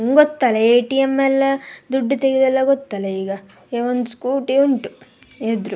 ನಿಮ್ಗೊತ್ತಲ್ಲಾ ATM ಎಲ್ಲಾ ದುಡ್ಡ್ ತಗೆಯೋದೆಲ್ಲಾ ಗೊತ್ತಲ್ಲ ಈಗ. ಏವನ್ ಸ್ಕೂಟಿ ಉಂಟು ಎದ್ರು.